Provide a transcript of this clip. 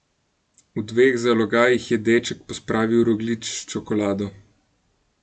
V dveh zalogajih je deček pospravil rogljič s čokolado.